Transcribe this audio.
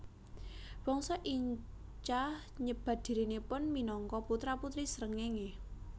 Bangsa Inca nyebat dhirinipun minangka putra putri srengéngé